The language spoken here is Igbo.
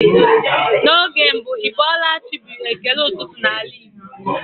N'oge mbụ "Ị bọọla chi" bụ ekele ụtụtụ n'ala Igbo.